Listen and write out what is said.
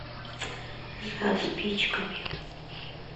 за спичками